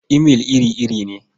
Imail iri-iri ne.